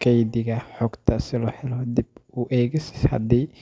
codadka iyo software-ka.